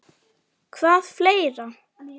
Hvað fleira?